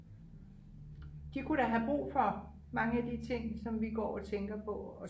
de kunne da have brug for mange af de ting som vi går og tænker på at